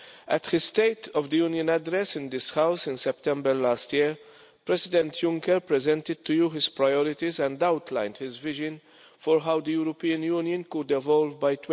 At his State of the Union address in this House in September last year, President Juncker presented to you his priorities and outlined his vision for how the European Union could devolve by